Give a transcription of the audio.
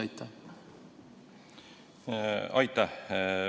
Aitäh!